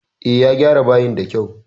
E, ya gyara bayin da kyau